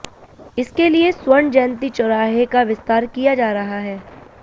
इसके लिए स्वर्ण जयंती चौराहे का विस्तार किया जा रहा है